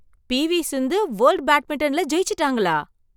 P. V. Sindhu world badminton ல ஜெயிச்சிட்டாங்களா!